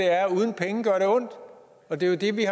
er at uden penge gør det ondt og det er jo det vi